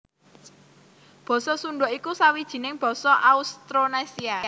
Basa Sundha iku sawijining basa Austronésia